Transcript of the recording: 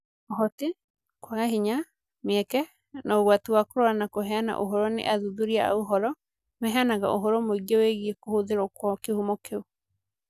Ũhoti, kwaga hinya, mĩeke, na ũgwati wa kũrora na kũheana ũhoro nĩ athuthuria a ũhoro maheanaga ũhoro mũingĩ wĩgiĩ kũhũthĩrwo kwa kĩhumo kĩu